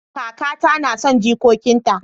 Kakata nason jikokin ta